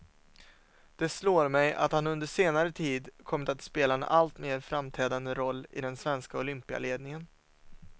Det slår mig att han under senare tid kommit att spela en allt mer framträdande roll i den svenska olympialedningen.